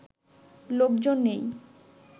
লোকজন নেই